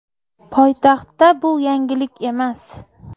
Poytaxtda bu yangilik emas.